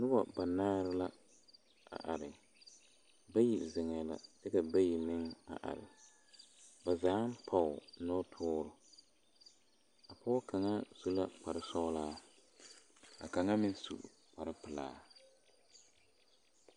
Noba banaare la are bayi zeŋɛɛ la ka bayi meŋ are nazaaŋ pɔge nɔpɔgre a pɔge kaŋa su la kpare sɔglaa ka kaŋa meŋ su kpare pelaa.